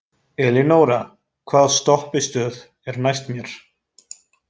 Elínora, hvaða stoppistöð er næst mér?